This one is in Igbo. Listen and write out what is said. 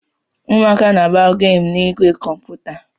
Ụmụaka na-agba gamu in igwe